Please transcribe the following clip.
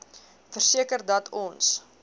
verseker dat ons